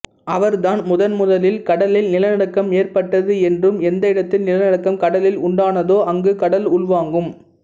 அவர் தான் முதன்முதலில் கடலில் நிலநடுக்கம் ஏற்பட்டது என்றும் எந்த இடத்தில் நிலநடுக்கம் கடலில் உண்டானதோ அங்கு கடல் உள்வாங்கும்